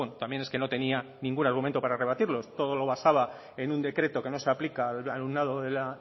también es que no tenía ningún argumento para rebatirlos todo lo basaba en un decreto que no se aplica al alumnado de la